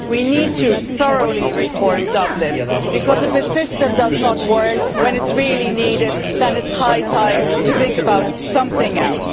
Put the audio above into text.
We need to thoroughly reform the Dublin Regulation, because if a system does not work when it is really needed then it is high time to think about something else.